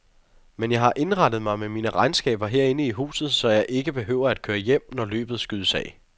Men jeg har indrettet mig med mine regnskaber herinde i huset, så jeg ikke behøver at køre hjem, når løbet skydes af.